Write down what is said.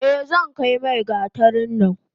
Eh zankai mai gatarin nan.